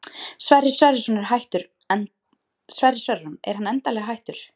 Sverrir Sverrisson er hann endanlega hættur?